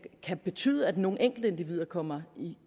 betyde at nogle enkeltindivider kommer